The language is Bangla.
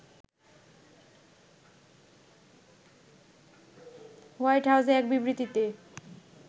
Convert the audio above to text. হোয়াইট হাউজে এক বিবৃতিতে